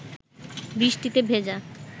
বৃষ্টিতে ভেজা